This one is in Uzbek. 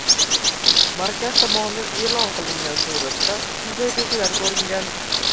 Markaz tomonidan e’lon qilingan suratda shunday belgilari ko‘ringan.